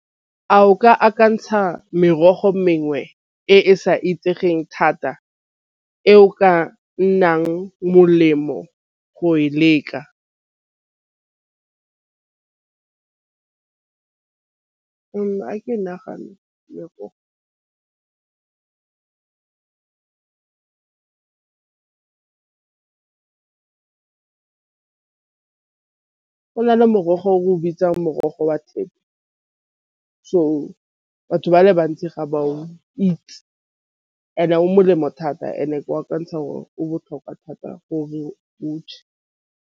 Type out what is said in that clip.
A o ka akantšha merogo mengwe e e sa itsegeng thata e o ka nnang molemo go e leka , nagana go na le morogo o re o bitsang morogo wa thepe so batho ba le bantsi ga ba o itse and-e o molemo thata and-e wa akantsha gore o botlhokwa thata gore .